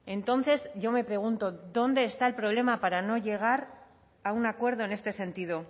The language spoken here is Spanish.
entonces yo me pregunto dónde está el problema para no llegar a un acuerdo en este sentido